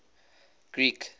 greek